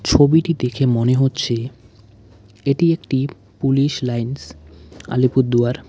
ছবিটি দেখে মনে হচ্ছে এটি একটি পুলিশ লাইনস আলিপুরদুয়ার।